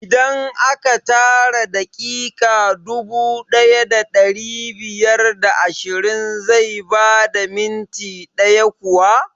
Idan aka tara daƙiƙa dubu ɗaya da ɗari biyar da ashirin zai bada minti ɗaya kuwa?